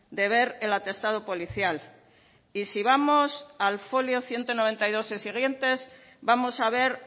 de ver el atestado policial y si vamos al folio ciento noventa y dos y siguientes vamos a ver